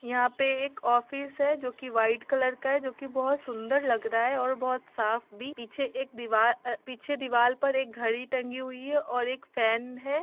यहाँ पे एक ऑफिस है जो की वाइट कलर का है जो की बहोत सुन्दर लग रहा है और बहोत साफ़ भी पीछे एक दिवार अ पीछे दीवाल पर एक घड़ी टंगी हुई है और एक फैन है।